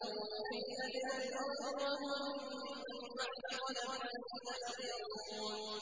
فِي أَدْنَى الْأَرْضِ وَهُم مِّن بَعْدِ غَلَبِهِمْ سَيَغْلِبُونَ